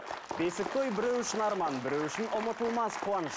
бесік той біреу үшін арман біреу үшін ұмытылмас қуаныш